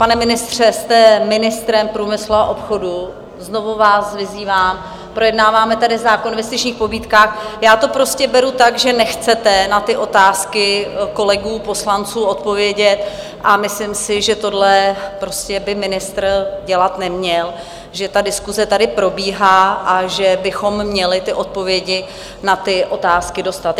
Pane ministře, jste ministrem průmyslu a obchodu, znovu vás vyzývám, projednáváme tady zákon o investičních pobídkách - já to prostě beru tak, že nechcete na ty otázky kolegů poslanců odpovědět, a myslím si, že tohle prostě by ministr dělat neměl, že ta diskuse tady probíhá a že bychom měli ty odpovědi na ty otázky dostat.